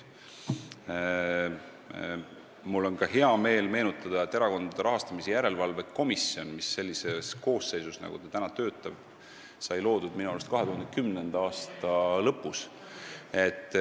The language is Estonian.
Mul on heameel meenutada, et Erakondade Rahastamise Järelevalve Komisjon, mis sellises koosseisus, nagu ta praegu töötab, sai loodud minu arust 2010. aasta lõpus.